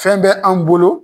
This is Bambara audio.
Fɛn bɛ an bolo